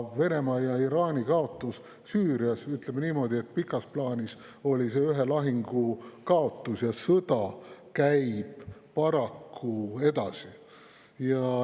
Venemaa ja Iraani kaotus Süürias – ütleme niimoodi, et pikas plaanis oli see ühe lahingu kaotus, sõda käib paraku edasi.